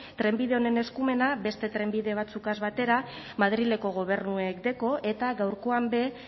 trenbide honen eskumena beste trenbide batzukaz batera madrileko gobernuek deko eta gaurkoan be